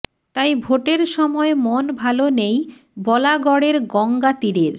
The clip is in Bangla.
তাই ভোটের সময় মন ভালো নেই বলাগড়ের গঙ্গা তীরের